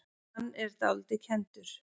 Hann er dálítið kenndur.